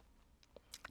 DR1